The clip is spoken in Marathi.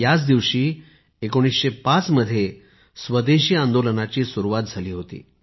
याच दिवशी 1905 साली स्वदेशी आंदोलनाची सुरुवात झाली होती